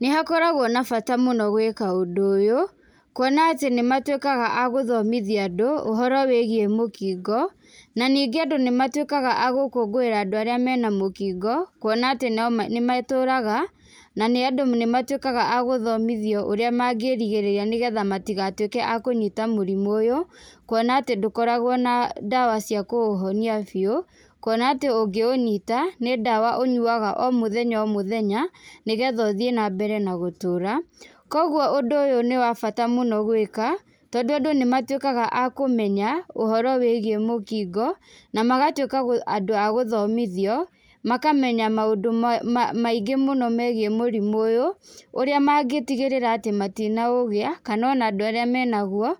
Nĩ hakoragwo na bata mũno gwĩka ũndũ ũyũ, kuona atĩ nĩ matuĩkaga agũthomithia andũ ũhoro wĩgiĩ mũkingo, na ningĩ andũ nĩ matuĩkaga a gũkũngũĩra andũ arĩa mena mũkingo kuona atĩ nĩ matũraga na nĩ ũndũ nĩ matuĩkaga a gũthomithio ũrĩa mangĩrigĩrĩria, nĩgetha matigatuĩke akũnyita mũrimũ ũyũ, kuona atĩ ndũkoragwo na ndawa cia kũũhonia biũ. Kuona atĩ ũngĩũnyita nĩ ndawa ũnyuwaga o mũthenya o mũthenya, nĩgetha ũthiĩ nambere na gũtũra. Koguo ũndũ ũyũ nĩ wa bata mũno gwĩka, tondũ andũ nĩ matuĩkaga a kũmenya ũhoro wĩgiĩ mũkingo na magatuĩka andũ a gũthomithio makamenya maũndũ maingĩ mũno megiĩ mũrimũ ũyũ, ũrĩa mangĩtigĩrĩra atĩ matinaũgĩa kana ona andũ arĩa menaguo